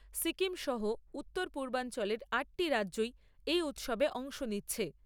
সিকিম সহ উত্তর পূর্বাঞ্চলের আটটি রাজ্যই এই উৎসবে অংশ নিচ্ছে।